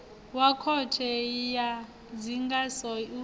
wa khothe ya ndinganyiso u